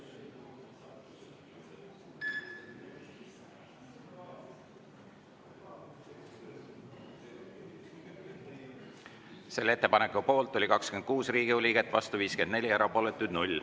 Selle ettepaneku poolt oli 26 Riigikogu liiget, vastu 54, erapooletuid 0.